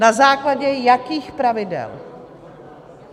Na základě jakých pravidel?